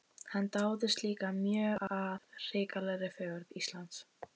Hann dáðist líka mjög að hrikalegri fegurð Íslands.